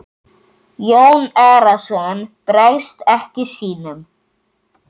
Jón Arason bregst ekki sínum.